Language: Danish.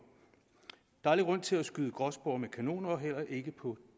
der er ingen grund til at skyde gråspurve med kanoner heller ikke på